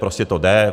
Prostě to jde.